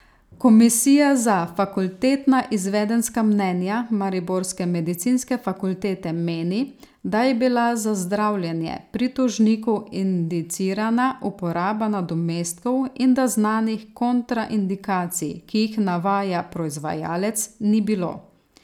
Komisija za fakultetna izvedenska mnenja mariborske medicinske fakultete meni, da je bila za zdravljenje pri tožniku indicirana uporaba nadomestkov in da znanih kontraindikacij, ki jih navaja proizvajalec, ni bilo.